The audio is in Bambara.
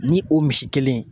Ni o misi kelen